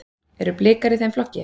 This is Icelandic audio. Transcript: Eru Blikar í þeim flokki?